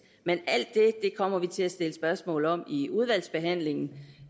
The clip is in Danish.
men alt det kommer vi til at stille spørgsmål om i udvalgsbehandlingen